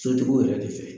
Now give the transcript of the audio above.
Sotigiw yɛrɛ de fɛ